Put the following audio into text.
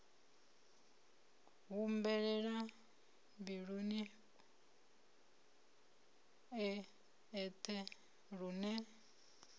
humbulela mbiluni e eṱhe lune